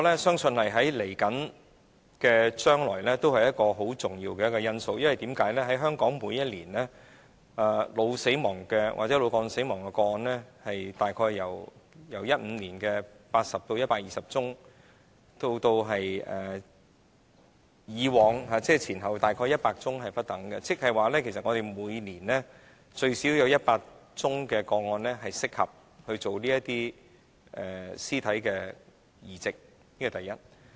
相信未來這是一個重要因素，因為香港每年腦死亡或腦幹死亡的個案，在2015年約有80宗至120宗，之前和之後每年約100宗不等，即是說其實香港每年最少有100宗個案適合進行屍體器官移植。